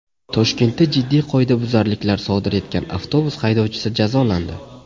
Toshkentda jiddiy qoidabuzarliklar sodir etgan avtobus haydovchisi jazolandi.